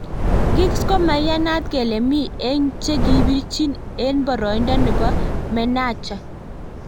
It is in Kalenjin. Giggs komaiyanat kele mi eng che kibirchin eng boroindo nebo menecha.